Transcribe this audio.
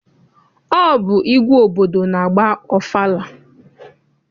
Ọ bụ igwe obodo na-agba ọfala.